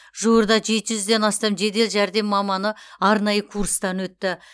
жуырда жеті жүзден астам жедел жәрдем маманы аранайы курстан өтті